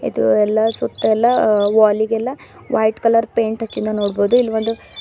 ಇದು ಎಲ್ಲಾ ಸುತ್ತ ಎಲ್ಲಾ ವಾಲ್ ಇಗೆಲ್ಲಾ ವೈಟ್ ಕಲರ್ ಪೈಂಟ್ ಹಚಿಂದ ನೋಡಬಹುದು ಇಲ್ ಒಂದು--